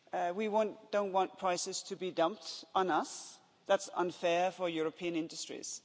We don't want prices to be dumped on us that's unfair for European industries.